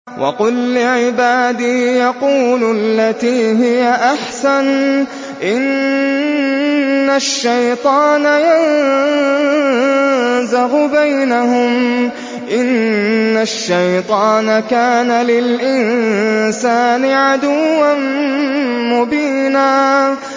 وَقُل لِّعِبَادِي يَقُولُوا الَّتِي هِيَ أَحْسَنُ ۚ إِنَّ الشَّيْطَانَ يَنزَغُ بَيْنَهُمْ ۚ إِنَّ الشَّيْطَانَ كَانَ لِلْإِنسَانِ عَدُوًّا مُّبِينًا